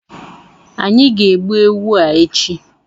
Anyị ga egbu ewu a echi